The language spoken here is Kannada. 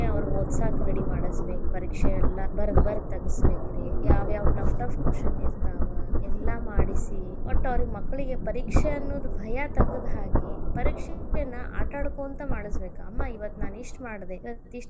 ಅವ್ರಗ್ ಓದಸಾಕ್ ready ಮಾಡಸಬೇಕ್ ಪರೀಕ್ಷೆ ಎಲ್ಲಾ ಬರದ್ ಬರದ್ ತಗಸಬೇಕ್ ರೀ ಯಾವ್ಯಾವ tough tough question ಇರ್ತಾವ್ ಎಲ್ಲಾ ಮಾಡಿಸಿ ವಟ್ ಅವ್ರಿಗೆ ಮಕ್ಕಳಿಗೆ ಪರೀಕ್ಷೆ ಅನ್ನದ್ ಭಯ ತೆಗೆದ್ ಹಾಕಿ ಪರೀಕ್ಷೆಯನ್ನ ಆಟಾಡಕೊಂತ ಮಾಡಸಬೇಕ್ ಅಮ್ಮಾ ಇವತ್ತ್ ಇಷ್ಟ್ ಮಾಡದೇ ಇವತ್ತ್.